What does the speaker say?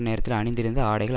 நேரத்தில் அணிந்திருந்த ஆடைகள்